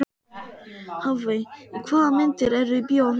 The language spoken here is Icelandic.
Hafey, hvaða myndir eru í bíó á fimmtudaginn?